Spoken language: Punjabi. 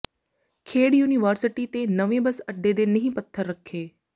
ਖੇਡ ਯੂਨੀਵਰਸਿਟੀ ਤੇ ਨਵੇਂ ਬੱਸ ਅੱਡੇ ਦੇ ਨੀਂਹ ਪੱਥਰ ਰੱਖੇ